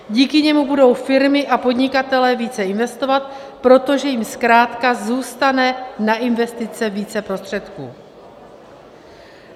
Díky němu budou firmy a podnikatelé více investovat, protože jim zkrátka zůstane na investice více prostředků.